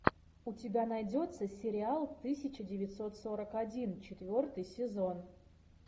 у тебя найдется сериал тысяча девятьсот сорок один четвертый сезон